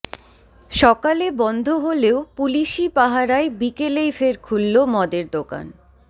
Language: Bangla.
সকালে বন্ধ হলেও পুলিশি পাহারায় বিকেলেই ফের খুলল মদের দোকান